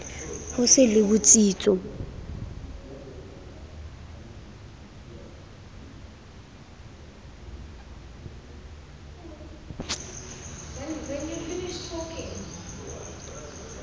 ho se be le botsitso